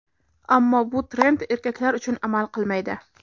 Ammo bu trend erkaklar uchun amal qilmaydi.